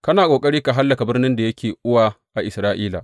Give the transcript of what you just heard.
Kana ƙoƙari ka hallaka birnin da yake uwa a Isra’ila.